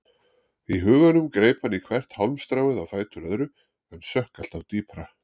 Í huganum greip hann í hvert hálmstráið á fætur öðru en sökk alltaf dýpra.